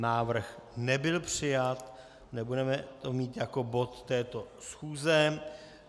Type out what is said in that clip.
Návrh nebyl přijat, nebudeme ho mít jako bod této schůze.